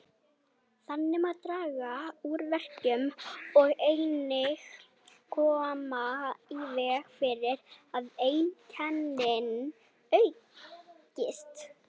Þannig má draga úr verkjum og einnig koma í veg fyrir að einkennin aukist.